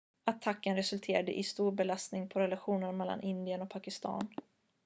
attacken resulterade i en stor belastning på relationerna mellan indien och pakistan